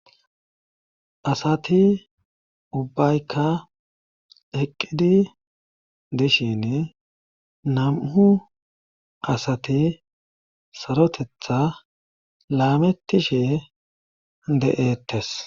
Asati ubbaykka eqqidi dishin nam7u asati sarotetha laametishee de'ettes.